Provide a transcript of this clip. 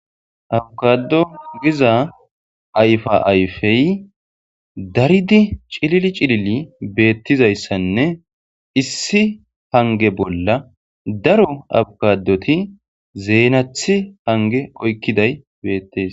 Abakado giza ayfa ayfey daridi cilili cilili beettizayssanne issi hange bolla daro awukadoti zeenathi hange oykkiday beettes